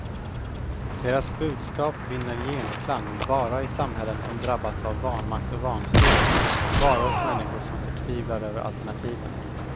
Deras budskap vinner genklang bara i samhällen som drabbats av vanmakt och vanstyre, och bara hos människor som förtvivlar över alternativen.